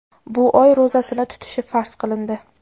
bu oy ro‘zasini tutishi farz qilindi.